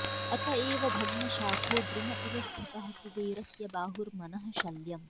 अतएव भग्नशाखो द्रुम इव स्थितः कुबेरस्य बाहुर्मनः शल्यम्